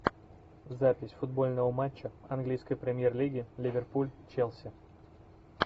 запись футбольного матча английской премьер лиги ливерпуль челси